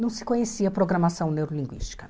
Não se conhecia a programação neurolinguística.